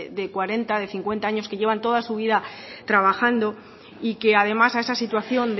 de cuarenta de cincuenta años que llevan toda su vida trabajando y que además a esa situación